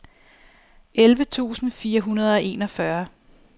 elleve tusind fire hundrede og enogfyrre